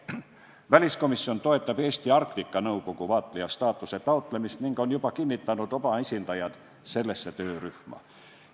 Väliskomisjon toetab Eestile Arktika Nõukogus vaatlejastaatuse taotlemist ning on juba kinnitanud oma esindajad sellesse töörühma.